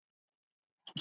Einsog honum um hana.